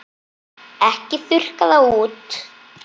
Ekki þurrka það út.